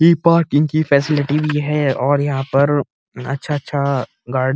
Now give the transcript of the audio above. इ पार्किंग की फैसिलिटी भी है और यहाँ पर अच्छा-अच्छा ग --